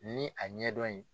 Ni a ɲɛdɔn ye.